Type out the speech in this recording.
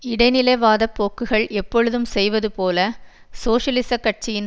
இடைநிலைவாதப் போக்குகள் எப்பொழுதும் செய்வதுபோல சோசியலிசக் கட்சியின்